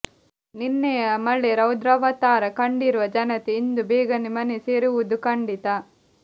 ನಿನ್ನೆಯ ಮಳೆ ರೌದ್ರಾವತಾರ ಕಂಡಿರುವ ಜನತೆ ಇಂದು ಬೇಗನೆ ಮನೆ ಸೇರುವುದು ಖಂಡಿತ